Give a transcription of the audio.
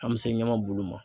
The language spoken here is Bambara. An mɛ se ɲamabulu ma.